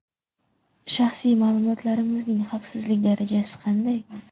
Shaxsiy ma’lumotlarimizning xavfsizlik darajasi qanday?